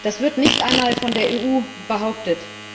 Das wird nicht einmal von der EU behauptet.